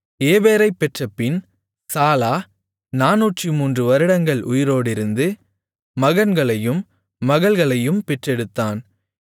ஏபேரைப் பெற்றபின் சாலா 403 வருடங்கள் உயிரோடிருந்து மகன்களையும் மகள்களையும் பெற்றெடுத்தான்